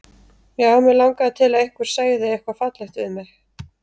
Já, mig langaði til að einhver segði eitthvað fallegt við mig.